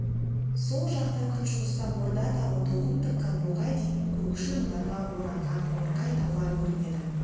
сол жақта күншығыста орда тауы тоқымтыққан боқай дейтін көкшіл мұнарға оранған қоңырқай таулар көрінеді